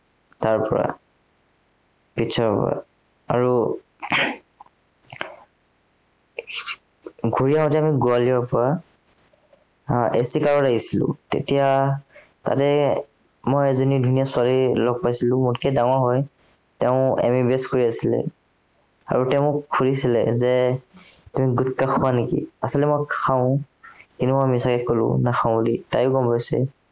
মই এজনী ধুনীয়া ছোৱালী লগ পাইছিলো, মোতকে ডাঙৰ হয়। তেওঁ MBBS কৰি আছিলে। আৰু তেওঁ মোক সুধিছিলে যে তুমি গুটখা খোৱা নেকি? আচলতে মই খাওঁ কিন্তু মই মিছাতে কলো নাখাঁও বুলি, তাইও গম পাইছে